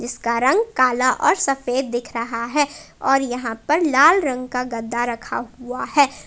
इसका रंग काला और सफेद दिख रहा है और यहां पे लाल रंग का गद्दा रखा हुआ है।